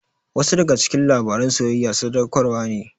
Wasu daga cikin labaran soyayya sadaukarwa ne.